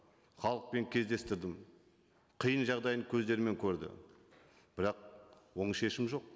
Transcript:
халықпен кездестірдім қиын жағдайын көздерімен көрді бірақ оң шешім жоқ